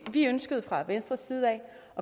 at vi ønskede fra venstres side at